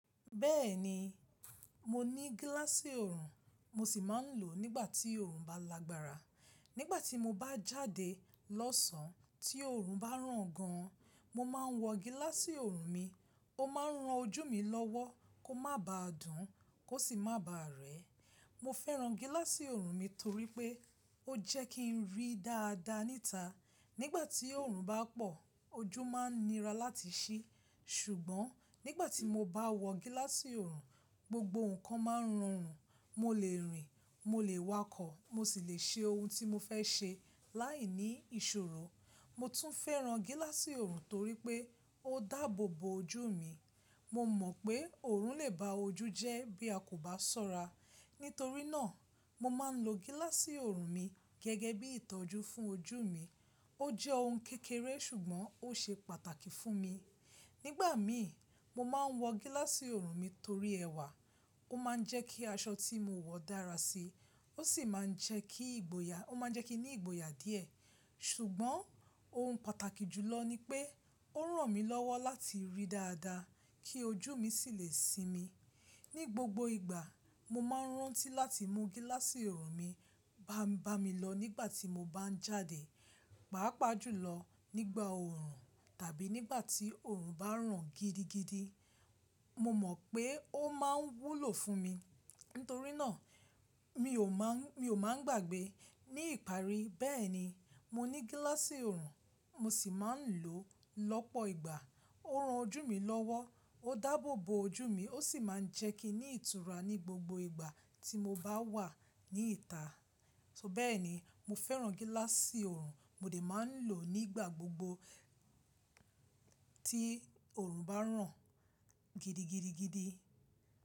Bẹ́ẹ̀ni, mo ní gíláàsì ọrùn mo sì máa ń lò ó nígbà tí ọrùn bá lagbára. Nígbà tí mo bá jáde lọ́sàn tí ọrùn bá ràn gan an, mo máa ń wọ gíláàsì ọrùn mi. Ó máa ń ran ojú mi lọ́wọ́ kó má ba dùn, kó sì má ba rẹ. Mo fẹ́ran gíláàsì ọrùn mi torí pé ó jẹ́ kí n rí dáadáa níta. Nígbà tí ọrùn bá pọ̀, ojú máa ń nira láti sí. Ṣùgbọ́n nígbà tí mo bá wọ gíláàsì ọrùn, gbogbo nǹkan máa ń rọrùn. Mo lè rìn, mo lè wakọ̀, mo sì lè ṣe ohun tí mo fẹ́ ṣe láìní ìṣòro. Mo tún fẹ́ran gíláàsì ọrùn torí pé ó dáàbò bo ojú mi. Mo mọ̀ pé ọrùn lè ba ojú jẹ́ bí a kò bá ṣọ́ra. Nítorí náà, mo máa ń lo gíláàsì ọrùn mi gẹ́gẹ́ bí ìtọ́jú fún ojú mi. Ó jẹ́ ohun kékeré ṣùgbọ́n ó ṣe pàtàkì fún mi. Nígbà mí, mo máa ń wọ gíláàsì ọrùn mi torí ẹwà. Ó máa ń jẹ́ kí aṣọ tí mo wọ dára sí i, ó sì máa ń jẹ́ kí ìgboyà, ó máa ń jẹ́ kí ní ìgboyà díẹ̀. Ṣùgbọ́n ohun pàtàkì jùlọ ni pé ó ràn mí lọ́wọ́ láti rí dáadáa kí ojú mi sì lè sinmi. Ní gbogbo ìgbà, mo máa ń rántí láti mú gíláàsì ọrùn mi bá mi lọ nígbà tí mo bá ń jáde, pàápàá jùlọ nígbà oòrùn tàbí nígbà tí ọrùn bá ràn gidigidi. Mo mọ̀ pé ó máa ń wúlò fún mi. Nítorí náà, mi ò máa ń, mi ò máa ń gbàgbẹ́ ní ìparí. Bẹ́ẹ̀ni, mo ní gíláàsì ọrùn mo sì máa ń lò ó lọ́pọ̀ ìgbà. Ó ran ojú mi lọ́wọ́, ó dáàbò bo ojú mi, ó sì máa ń jẹ́ kí n ní ìtura ní gbogbo ìgbà tí mo bá wà níta. So bẹ́ẹ̀ni, mo fẹ́ran gíláàsì ọrùn mo lè máa ń lò ó nígbà gbogbo tí ọrùn bá ràn gidigidigidi.